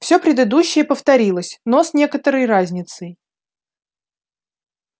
всё предыдущее повторилось но с некоторой разницей